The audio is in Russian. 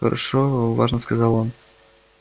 хорошо важно сказал он